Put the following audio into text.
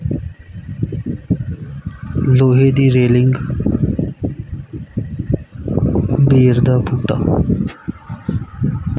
ਲੋਹੇ ਦੀ ਰੇਲਿੰਗ ਬੇਰ ਦਾ ਬੂਟਾ।